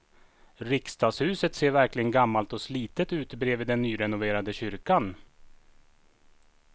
Riksdagshuset ser verkligen gammalt och slitet ut bredvid den nyrenoverade kyrkan.